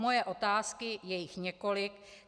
Moje otázky - je jich několik.